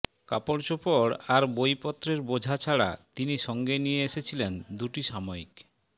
কাপড়চোপড় আর বইপত্রের বোঝা ছাড়া তিনি সঙ্গে নিয়ে এসেছিলেন দুটি সাময়িক